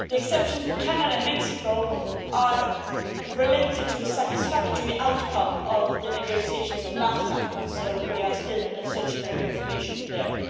The exceptions for Canada and Mexico are related to a satisfactory outcome of the negotiations of NAFTA, so we are still looking for more information there.